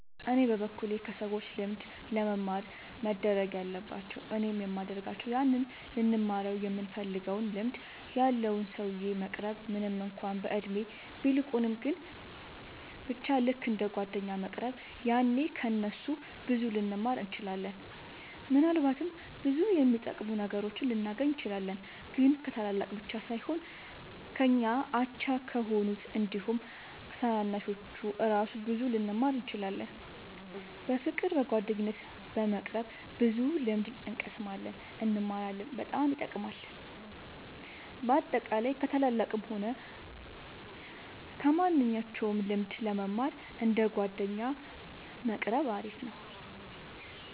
እኔ በበኩሌ ከሰዎች ልምድ ለመማር መደረግ ያለባቸው እኔም የሚደርጋቸው ያንን ልንማረው ይምንፈልገውን ልምድ ያለውን ሰውዬ መቅረብ ምንም እንኳን በእድሜ ቢልቁንም ግን በቻ ልክ እንደ ጓደኛ መቅረብ ያኔ ከ እነሱ ብዙ ልንማር እንችላለን። ምናልባትም ብዙ የሚጠቅሙ ነገሮችን ልናገኝ እንችላለን። ግን ከታላላቅ ብቻ ሳይሆን ከኛ አቻ ከሆኑት አንዲሁም ከታናናሾቹ እራሱ ብዙ ልንማር እንችላለን። በፍቅር በጓደኝነት በመቅረብ ብዙ ልምድ እንቀስማለን እንማራለን በጣም ይጠቅማል። በአጠቃላይ ከ ታላላቅም ሆነ ከማንኞቹም ልምድ ለመማር እንደ ጓደኛ መቆረብ አሪፍ ነው